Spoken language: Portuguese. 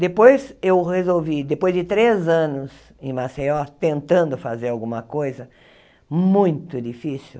Depois eu resolvi, depois de três anos em Maceió, tentando fazer alguma coisa, muito difícil,